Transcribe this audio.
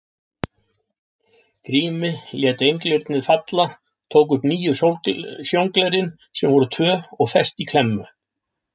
Grími, lét einglyrnið falla, tók upp nýju sjónglerin sem voru tvö og fest í klemmu.